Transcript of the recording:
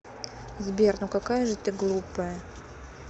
сбер ну какая же ты глупая